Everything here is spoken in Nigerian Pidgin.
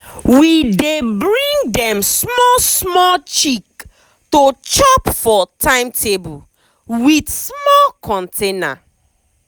we dey bring dem small small chick to chop for timetable with small container.